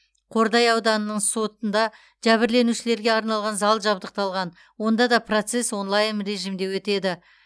қордай ауданының сотында жәбірленушілерге арналған зал жабдықталған онда да процесс онлайн режимде өтеді